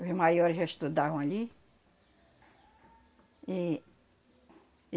Os maiores já estudavam ali. E